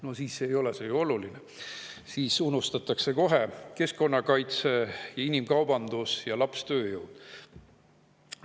No siis ei ole see ju oluline, siis unustatakse kohe keskkonnakaitse, inimkaubandus ja lapstööjõud.